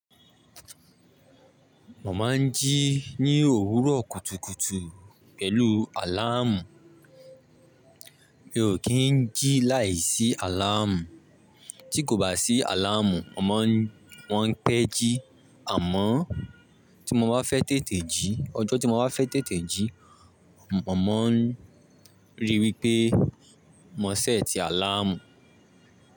Mọ máa ń jí ní òwúrọ̀ kùtùkùtù pẹ̀lú àláàmù. Mi ò kí ń jí láìsí àláàmù. Tí kò bá sí àláàmù, mo maá n pẹ́ jí àmọ́ tí mo bá fẹ́ tètè jí, ọjọ́ tí mo bá fẹ́ tètè jí, mo máa ń rí i wí pé mo ṣẹ́tì àláàmù.